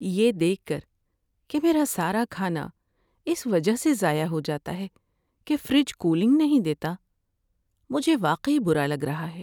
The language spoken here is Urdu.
یہ دیکھ کر کہ میرا سارا کھانا اس وجہ سے ضائع ہو جاتا ہے کہ فریج کولنگ نہیں دیتا، مجھے واقعی برا لگ رہا ہے۔